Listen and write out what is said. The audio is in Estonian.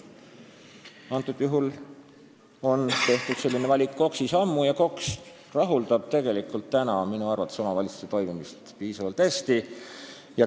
Antud juhul on selline valik KOKS-is tehtud juba ammu ja KOKS reguleerib tegelikult minu arvates omavalitsuste toimimist piisavalt hästi.